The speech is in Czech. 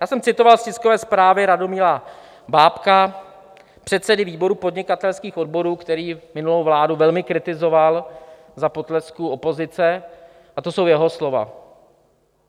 Já jsem citoval z tiskové zprávy Radomila Bábka, předsedy výboru Podnikatelských odborů, který minulou vládu velmi kritizoval za potlesku opozice, a to jsou jeho slova.